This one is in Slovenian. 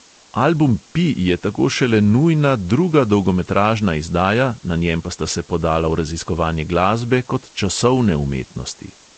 Album pi je tako šele nujna druga dolgometražna izdaja, na njem pa sta se podala v raziskovanje glasbe kot časovne umetnosti.